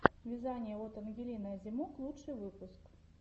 вязание от ангелины озимок лучший выпуск